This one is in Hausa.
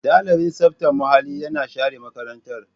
Ɗalibin tsaftar muhalli yana share makarantar.